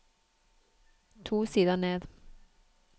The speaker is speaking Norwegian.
To sider ned